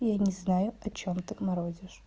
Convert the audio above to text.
я не знаю о чем ты морозишь